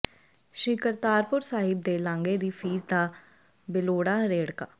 ਸ੍ਰੀ ਕਰਤਾਰਪੁਰ ਸਾਹਿਬ ਦੇ ਲਾਂਘੇ ਦੀ ਫੀਸ ਦਾ ਬੇਲੋੜਾ ਰੇੜਕਾ